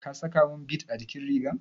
Ka sakamin bid a jikin rigar?